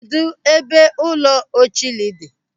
Kedụ ebe ụlọ Ocholi dị?